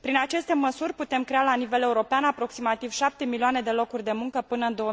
Prin aceste măsuri putem crea la nivel european aproximativ 7 milioane de locuri de muncă până în